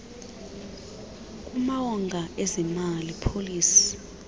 kumawonga ezemali policy